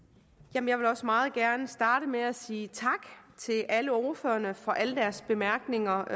jeg vil også meget gerne starte med at sige tak til alle ordførerne for alle deres bemærkninger